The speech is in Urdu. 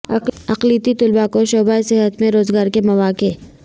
اقلیتی طلبہ کو شعبہ صحت میں روزگار کے مواقع